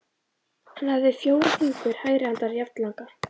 Hann hafði fjóra fingur hægri handar jafnlanga.